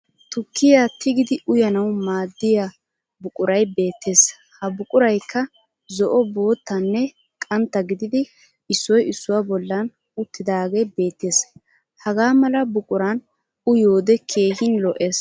Tukkiya tigidi uyanawu maaddiya buquray beettes ha buqurayikka zo'o, boottanne qantta gididi issoy issuwa bollan uttidaagee beettes. Hagaa mala buquran uyiyoode keehin lo'ees.